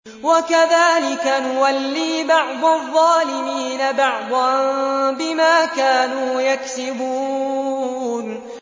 وَكَذَٰلِكَ نُوَلِّي بَعْضَ الظَّالِمِينَ بَعْضًا بِمَا كَانُوا يَكْسِبُونَ